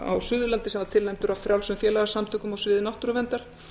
á suðurlandi sem var tilnefndur af frjálsum félagasamtökum á sviði náttúruverndar